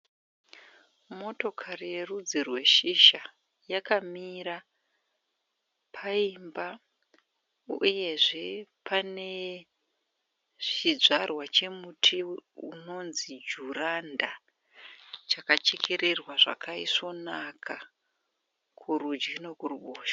Motokari yerudzi rweshisha yakamira paimba uyezve pane chidzvarwa chemuti unonzi juranda chakachererwa zvakaisvonakana kurudyi nekuruboshwe.